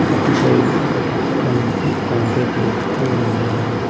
అటు సైడ్ ఒక పక్క నుంచి కాంక్రీట్ వేస్తూ ఉన్నారు.